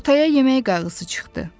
Ortaya yemək qayğısı çıxdı.